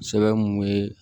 Sɛbɛn mun be